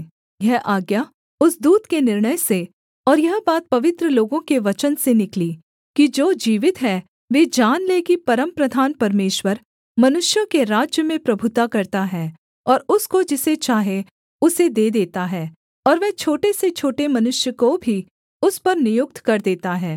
यह आज्ञा उस दूत के निर्णय से और यह बात पवित्र लोगों के वचन से निकली कि जो जीवित हैं वे जान लें कि परमप्रधान परमेश्वर मनुष्यों के राज्य में प्रभुता करता है और उसको जिसे चाहे उसे दे देता है और वह छोटे से छोटे मनुष्य को भी उस पर नियुक्त कर देता है